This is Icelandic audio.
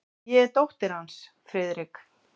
Ég er dóttir hans, Friðrik.